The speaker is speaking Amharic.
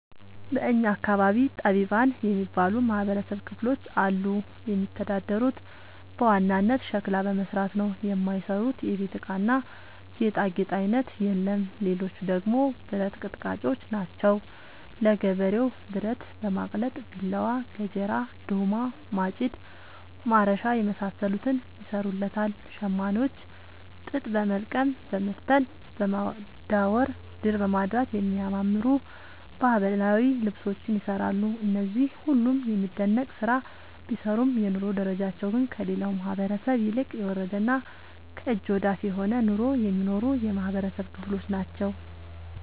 በእኛ አካባቢ ጠቢባን የሚባሉ የማህበረሰብ ክፍሎች አሉ። የሚተዳደሩት በዋናነት ሸክላ በመስራት ነው። የማይሰሩት የቤት እቃና ጌጣጌጥ አይነት የለም ሌቹ ደግሞ ብረት አቀጥቃጭጮች ናቸው። ለገበሬው ብረት በማቅለጥ ቢላዋ፣ ገጀራ፣ ዶማ፣ ማጭድ፣ ማረሻ የመሳሰሉትን ይሰሩለታል። ሸማኔዎች ጥጥ በወልቀም በመፍተል፣ በማዳወር፣ ድር በማድራት የሚያማምሩ ባህላዊ ልብሶችን ይሰራሉ። እነዚህ ሁሉም የሚደነቅ ስራ ቢሰሩም የኑሮ ደረጃቸው ግን ከሌላው ማህበረሰብ ይልቅ የወረደና ከእጅ ወዳፍ የሆነ ኑሮ የሚኖሩ የማህበረሰብ ክሎች ናቸው።